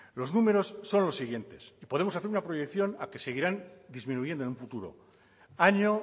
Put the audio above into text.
los números son los siguientes y podemos hacer una proyección a que seguirán disminuyendo en un futuro año